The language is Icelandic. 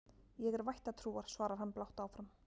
Ég er vættatrúar, svarar hann blátt áfram.